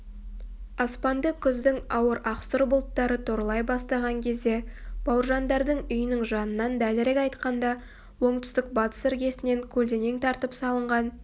аспанды күздің ауыр ақсұр бұлттары торлай бастаған кезде бауыржандардың үйінің жанынан дәлірек айтқанда оңтүстік-батыс іргесінен көлденең тартып салынған